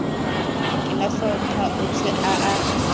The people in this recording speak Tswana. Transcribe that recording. ke mafapha otlhe a a